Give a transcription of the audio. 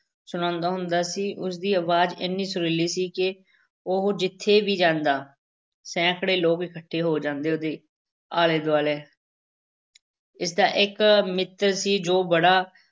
ਸੁਣਾਉਂਦਾ ਹੁੰਦਾ ਸੀ, ਉਸ ਦੀ ਅਵਾਜ਼ ਏਨੀ ਸੁਰੀਲੀ ਸੀ ਕਿ ਉਹ ਜਿੱਥੇ ਵੀ ਜਾਂਦਾ, ਸੈਂਕੜੇ ਲੋਕ ਇਕੱਠੇ ਹੋ ਜਾਂਦੇ ਉਹਦੇ ਆਲੇ ਦੁਆਲੇ ਇਸ ਦਾ ਇੱਕ ਮਿੱਤਰ ਸੀ ਜੋ ਬੜਾ